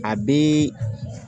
A bɛ